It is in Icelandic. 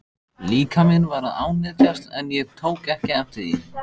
Líkaminn var að ánetjast en ég tók ekki eftir því.